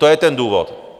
To je ten důvod.